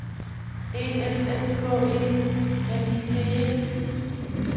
E L S K E L I G E